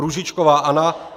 Růžičková Anna